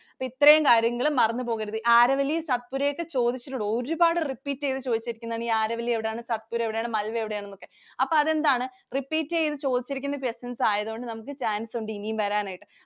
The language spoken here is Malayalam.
അപ്പോ ഇത്രയും കാര്യങ്ങൾ മറന്നു പോകരുത്. Aravalli, Satpura ഒക്കെ ചോദിച്ചിട്ടുണ്ട്. ഒരുപാടു repeat ചെയ്തു ചോദിച്ചിരിക്കുന്നതാണ്. Aravalli എവിടെയാണ്, Satpura എവിടെയാണ്, Malwa എവിടെയാണ് എന്നൊക്കെ. അപ്പൊ അതെന്താണ്? Repeat ചെയ്തു ചോദിച്ചിരിക്കുന്ന questions ആയതുകൊണ്ട് നമുക്ക് chance ഉണ്ട് ഇനിയും വരാനായിട്ട്.